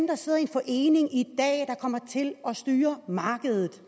der sidder i en forening i dag der kommer til at styre markedet